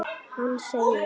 Hann segir: